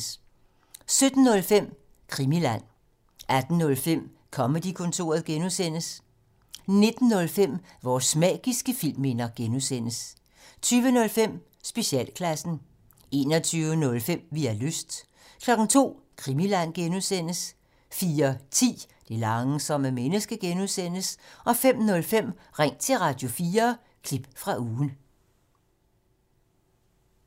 17:05: Krimiland 18:05: Comedy-kontoret (G) 19:05: Vores magiske filmminder (G) 20:05: Specialklassen 21:05: Vi har lyst 02:00: Krimiland (G) 04:10: Det langsomme menneske (G) 05:05: Ring til Radio4 – klip fra ugen